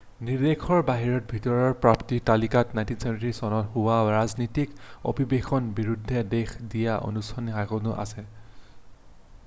নিৰ্দেশৰ বাহিৰে ভতিয়াৰৰ প্ৰাপ্তিৰ তালিকাত 1973 চনত হোৱা ৰাজনৈতিক অভিৱেশনৰ বিৰুদ্ধে দেখা দিয়া অনশন কাৰ্যসূচীও আছে